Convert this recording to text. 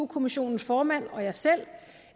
kommissionens formand og jeg selv